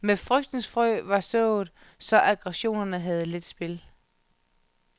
Men frygtens frø var sået, så aggressorerne havde let spil.